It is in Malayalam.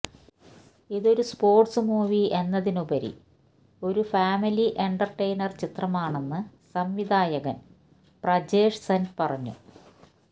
ഇതൊരു സ്പോര്ട്സ് മൂവി എന്നതിനുപരി ഒരു ഫാമിലി എന്റര്ടെയ്നര് ചിത്രമാണെന്ന് സംവിധായകന് പ്രജേഷ് സെന് പറഞ്ഞു